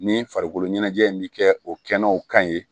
Ni farikolo ɲɛnajɛ in bi kɛ o kɛnɛw kan ye